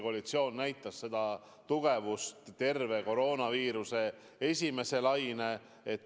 Koalitsioon näitas oma tugevust terve koroonaviiruse esimese laine ajal.